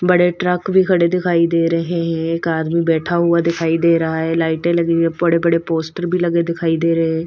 बड़े ट्रक भी खड़े दिखाई दे रहे हैं एक आदमी बैठा हुआ दिखाई दे रहा है लाइटें लगी हुई है बड़े-बड़े पोस्टर भी लगे दिखाई दे रहे हैं।